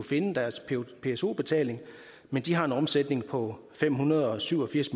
finde deres pso betaling men de har en omsætning på fem hundrede og syv og firs